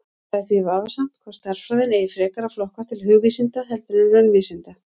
Það er því vafasamt hvort stærðfræðin eigi frekar að flokkast til hugvísinda heldur en raunvísinda.